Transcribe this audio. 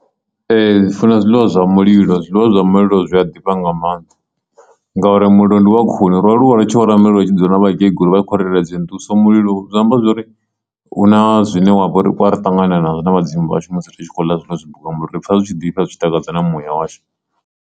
Ee, ndi funa zwiḽiwa zwa mulilo zwiḽiwa zwa mulilo zwi a ḓifha nga maanḓa ngauri mulilo ndi wa khuni ro aluwa ri tshi ora mulilo ri tshi dzula na vhakegulu vha i khori itela dzi nḓuhu so zwi amba zwori mulilo hu na zwine wa vhori u ari ṱangana nazwo na vhadzimu vhashu musi ri tshi khou ḽa zwiḽiwa zwo bikwaho nga mulilo ri pfha zwi tshi ḓifha zwi tshi takadza na muya washu.